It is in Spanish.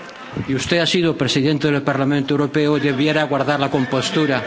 Y usted ha sido presidente del Parlamento Europeo y debiera guardar la compostura.